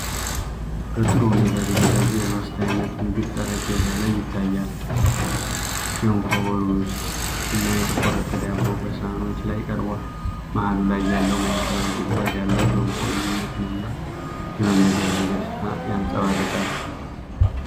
በጥሩ ሁኔታ የተዘጋጀ የሶስት አይነት ምግብ ጠረጴዛ ላይ ይታያል። ገንፎ፣ ሩዝ እና የተቆረጠ ዳቦ በሳህኖች ላይ ቀርቧል። መሃሉ ላይ ያለው ማዕከላዊ ጉድጓድ ያለው ገንፎ ልዩነትንና የመመገብን ደስታ ያንፀባርቃል።